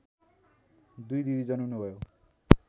दुई दिदी जन्मनुभयो